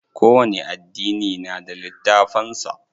Kowani addini na da littafan su.